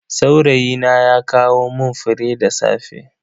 Saurayina ya kawo mun fure da safe.